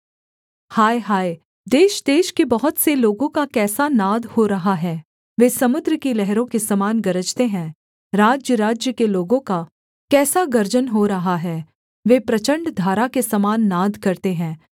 हाय हाय देशदेश के बहुत से लोगों का कैसा नाद हो रहा है वे समुद्र की लहरों के समान गरजते हैं राज्यराज्य के लोगों का कैसा गर्जन हो रहा है वे प्रचण्ड धारा के समान नाद करते हैं